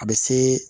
A bɛ se